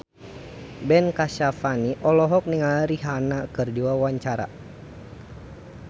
Ben Kasyafani olohok ningali Rihanna keur diwawancara